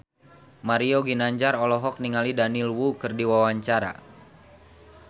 Mario Ginanjar olohok ningali Daniel Wu keur diwawancara